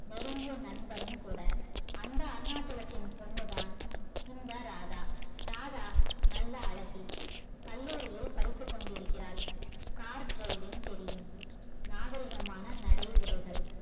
நெருங்கிய நண்பரும் கூட அந்த அருணாச்சலத்தின் பொண்ணுதான் இந்த ராதா ராதா நல்ல அழகி கல்லூரியில் படித்து கொண்டிருக்கிறாள் car தெரியும் நாகரீகமான நடை உடைகள்